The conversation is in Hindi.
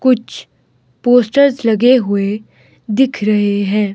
कुछ पोस्टर्स लगे हुए दिख रहे है।